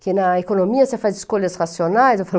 Que na economia você faz escolhas racionais, eu falo...